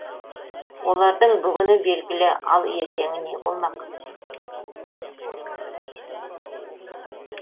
олардың бүгіні белгілі ал ертеңі не болмақ